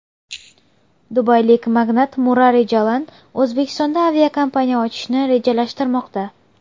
Dubaylik magnat Murari Jalan O‘zbekistonda aviakompaniya ochishni rejalashtirmoqda.